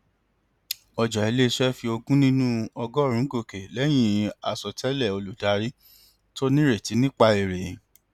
ọjà iléiṣẹ fi ogún nínú ọgọrùnún gòkè lẹyìn àsọtẹlẹ olùdarí tó nírètí nípa èrè